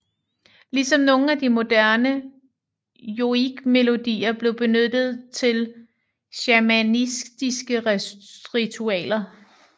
Ligesom nogle af de moderne joikmelodier blev benyttet til shamanistiske ritualer